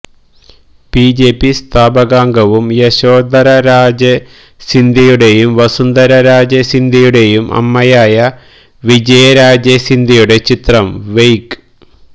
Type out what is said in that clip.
BJP സ്ഥാപകാംഗവും യശോധര രാജെ സിന്ധ്യയുടേയും വസുന്ധര രാജെ സിന്ധ്യയുടെയും അമ്മയായ വിജയരാജെ സിന്ധ്യയുടെ ചിത്രം വെയ്ക്